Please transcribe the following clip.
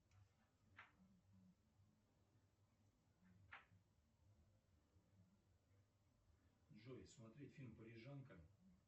джой смотреть фильм парижанка